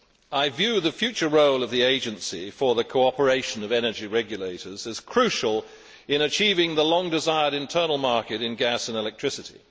I view the future role of the Agency for the Cooperation of Energy Regulators as crucial in achieving the long desired internal market in gas and electricity.